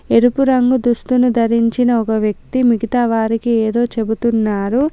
ఎరుపు రంగు దుస్తును ధరించిన ఒక వ్యక్తి మిగతా వారికి ఏదో చెబుతున్నారు.